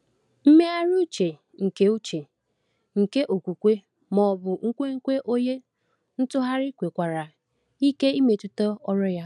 Mmegharị uche nke uche nke okwukwe ma ọ bụ nkwenkwe onye ntụgharị nwekwara ike imetụta ọrụ ya.